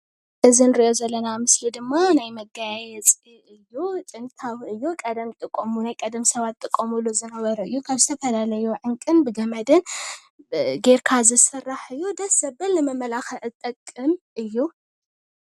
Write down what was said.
እዚ ንሪኦ ዘለና ምስሊ ድማ ናይ መጋያየፂ እዩ፡፡ ጥንታዊ እዩ። ናይ ቀደም ስባት ዝጥቀምሉ ዝነበረ እዩ ።ካብ ዝተፈላለየ ዕንቁን ብገመድን ገይርካ ዝስራሕ እዩ፡፡ ድስ ዘብል ንመመላክዒ ዝጠቅም እዩ፡፡